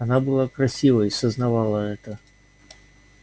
она была красива и сознавала это